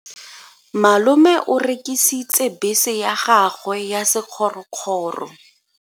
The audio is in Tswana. Malome o rekisitse bese ya gagwe ya sekgorokgoro.